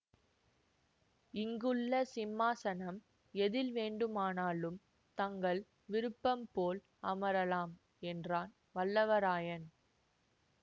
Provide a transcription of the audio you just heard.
இங்குள்ள சிம்மாசனம் எதில் வேண்டுமானாலும் தங்கள் விருப்பம் போல் அமரலாம் என்றான் வல்லவரையன்